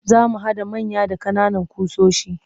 Za mu haɗa manya da ƙananan ƙusoshi